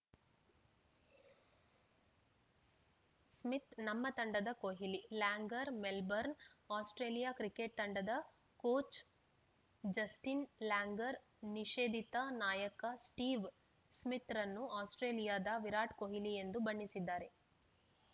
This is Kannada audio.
ಸ್ಮಿತ್‌ ನಮ್ಮ ತಂಡದ Kohli Langer Melbourne Australia cricket ತಂಡದ ಕೋಚ್‌ ಜಸ್ಟಿನ್‌ ಲ್ಯಾಂಗರ್‌ ನಿಷೇಧಿತ ನಾಯಕ ಸ್ಟೀವ್‌ ಸ್ಮಿತ್‌ರನ್ನು ಆಸ್ಪ್ರೇಲಿಯಾದ ವಿರಾಟ್‌ ಕೊಹ್ಲಿ ಎಂದು ಬಣ್ಣಿಸಿದ್ದಾರೆ